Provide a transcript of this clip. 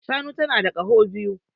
Shanu tana da kaho biyu